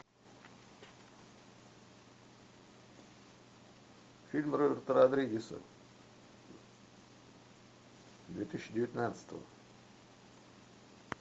фильм роберта родригеса две тысячи девятнадцатого